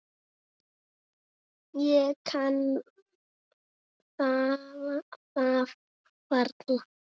Ég kann það varla.